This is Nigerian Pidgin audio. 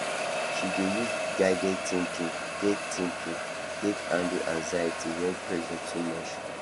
she dey use guided thinking take thinking take handle anxiety when pressure too much